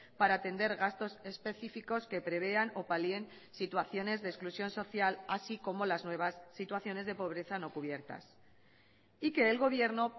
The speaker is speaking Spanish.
para atender gastos específicos que prevean o palien situaciones de exclusión social así como las nuevas situaciones de pobreza no cubiertas y que el gobierno